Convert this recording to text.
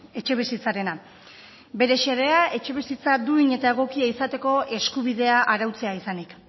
etxebizitzarena bere xedea etxebizitza duin eta egokia izateko eskubidea arautzea izanik